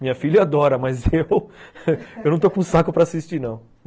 Minha filha adora, mas eu não estou com saco para assistir, não.